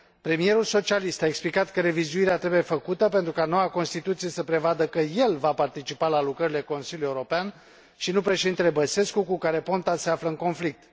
Premierul socialist a explicat că revizuirea trebuie făcută pentru ca noua constituție să prevadă că el va participa la lucrările Consiliului European, și nu Președintele Băsescu, cu care Ponta se află în conflict.